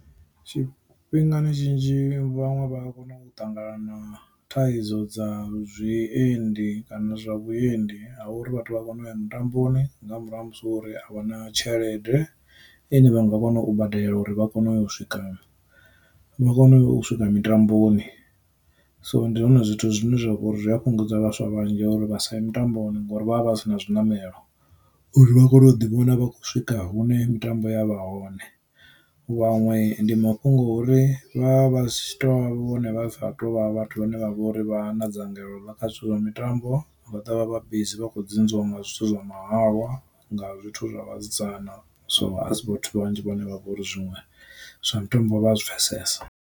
Tshifhingani tshinzhi vhaṅwe vha a kona u ṱangana na thaidzo dza zwiendi kana zwa vhuendi ha vha uri vhathu vha kone u ya mutambo nga murahu ha musi uri a vha na tshelede ine vha nga kona u badela uri vha kone u swika vha kone u swika mitamboni. So ndi zwone zwithu zwine zwa vha uri a fhungudza vhaswa vhanzhi uri vha sa mitamboni ngori vha vha vha si na zwi ṋamelo uri vha kone u ḓiwana vha khou swika hune mitambo ya vha hone, vhaṅwe ndi mafhungo uri vha zwi tshi tou vhone vha bva tovha vhathu vhane vha vha uri vha na dzangalelo ḽa kha zwithu zwa mitambo vha dovha vha busy vha kho dzunziwa nga zwithu zwa mahalwa nga zwithu zwa vhasidzana. So asi vhathu vhanzhi vhane vha vha uri zwiṅwe zwa mitambo vha a zwi pfesesa.